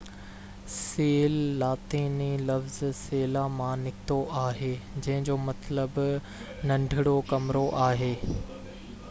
cell لاطيني لفظ سيلا مان نڪتو آهي جنهن جو مطلب ننڍڙو ڪمرو آهي